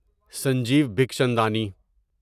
Sanjeev Bakhchandani